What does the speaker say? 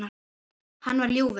Hann var ljúfur.